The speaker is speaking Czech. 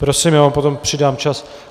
Prosím, já vám potom přidám čas.